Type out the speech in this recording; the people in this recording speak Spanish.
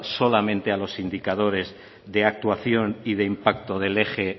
solamente a los indicadores de actuación y de impacto del eje e